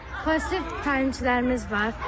Və peşəkar təlimçilərimiz var.